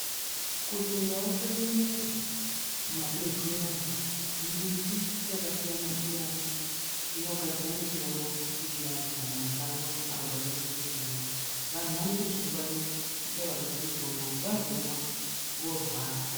KuChindau kwedu unono kune mitombo yakasiyana siyana inomera, vanthu vanotoingwarira vachizoishandisa kana voorwara.